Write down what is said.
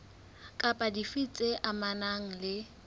kapa dife tse amanang le